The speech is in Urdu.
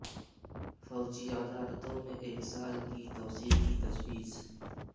فوجی عدالتوں میں ایک سال کی توسیع کی تجویز